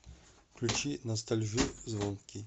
включи ностальжи звонкий